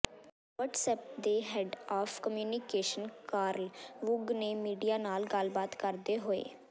WhatsApp ਦੇ head of communications Carl Woog ਨੇ media ਨਾਲ ਗੱਲਬਾਤ ਕਰਦੇ ਹੋਏ